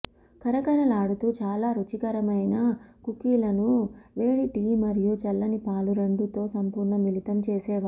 కరకరలాడుతూ చాలా రుచికరమైన కుకీలను వేడి టీ మరియు చల్లని పాలు రెండూ తో సంపూర్ణ మిళితం చేసేవారు